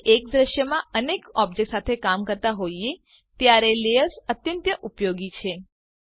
જયારે એક દૃશ્યમાં અનેક ઓબજેક્ટ સાથે કામ કરતા હોઈએ ત્યારે લેયર્સ અત્યંત ઉપયોગી છે